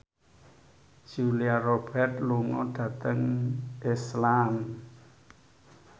Julia Robert lunga dhateng Iceland